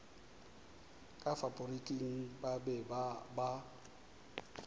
ka faporiking ba be ba